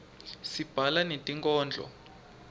sibhala netinkhondlo